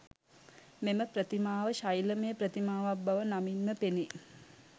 මෙම ප්‍රතිමාව ශෛලමය ප්‍රතිමාවක් බව නමින්ම පෙනේ.